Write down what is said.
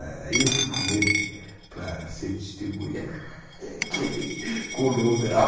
Aí eu fui com ele para ser testemunha, que ele colou o grau.